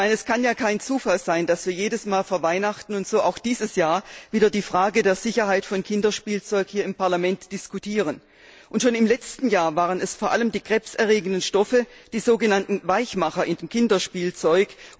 Es kann ja kein Zufall sein, dass wir jedes Mal vor Weihnachten, so auch dieses Jahr wieder, die Frage der Sicherheit von Kinderspielzeug hier im Parlament diskutieren. Schon im letzten Jahr waren es vor allem die krebserregenden Stoffe, die sogenannten Weichmacher in Kinderspielzeug.